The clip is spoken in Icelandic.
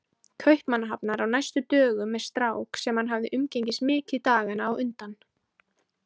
Kaupmannahafnar á næstu dögum með strák sem hann hafði umgengist mikið dagana á undan.